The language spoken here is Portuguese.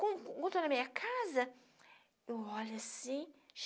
Quando quando eu estou na minha casa, eu olho assim.